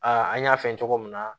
Aa an y'a fɛn cogo min na